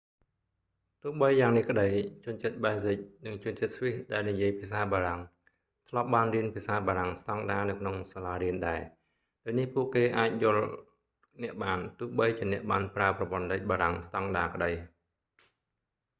ទោះបីយ៉ាងនេះក្ដី ជនជាតិប៊ែលស៊ិក និងជនជាតិស្វីសដែលនិយាយភាសាបារាំង ធ្លាប់បានរៀនភាសាបារាំងស្ដង់ដានៅក្នុងសាលារៀនដែរ ដូចនេះ ពួកគេអាចអាចយល់អ្នកបាន ទោះបីជាអ្នកបានប្រើប្រព័ន្ធលេខបារាំងស្ដង់ដាក្ដី